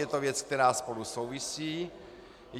Je to věc, která spolu souvisí.